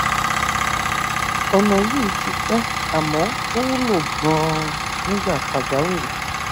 ọnà yìí ti pẹ àmọ ó wúlò ganan nígbà pàjáwìrì